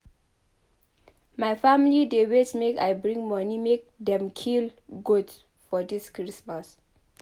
My family dey wait make I bring moni make dem kill goat for dis Christmas.